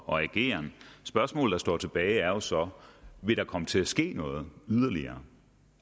og ageren og spørgsmålet der står tilbage er jo så vil der komme til at ske noget yderligere